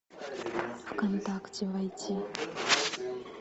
в контакте войти